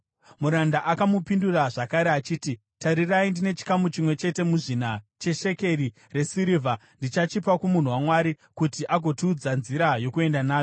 Muranda akamupindura zvakare achiti, “Tarirai, ndine chikamu chimwe chete muzvina cheshekeri resirivha. Ndichachipa kumunhu waMwari kuti agotiudza nzira yokuenda nayo.”